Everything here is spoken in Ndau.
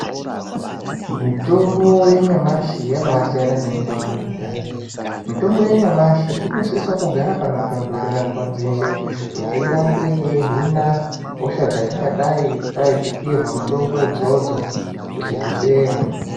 Mitombo yanyamashi yabasiyana nemitombo yekudhaya mitombo yanyamashi inosise kugara panotonhorera nguva dzeshe kuti irambe yeihina hosha dzatingadai tadzipiirwa mitombo idzodzo kuti dzipera .